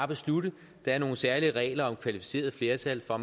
beslutte der er nogle særlige regler om kvalificeret flertal for